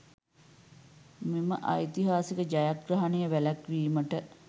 මෙම ඓතිහාසික ජයග්‍රහණය වැලැක්වීමට